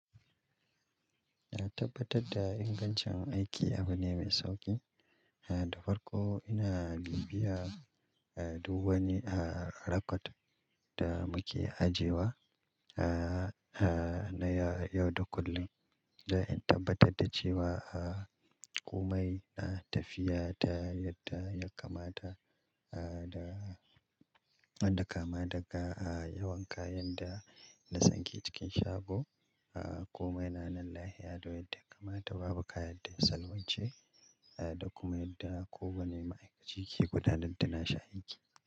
Na tabbatar da ingancin aiki abu ne mai sauƙi, da farko ina bibiya duk wani record da muke ajewa na yau da kullum. Don in tabbatar da cewa a komai na tafiya ta yadda ya kamata da wanda kama daga yawan kayan da na saki cikin shago komai na, nan lahe yadda ya kamata, babu kaya da ya salwance da kuma yadda kowane ma'aikaci ke gudanar da na shi aiki.